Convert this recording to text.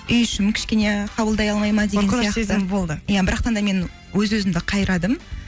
үй ішім кішкене қабылдай алмай ма иә да мен өз өзімді қайрадым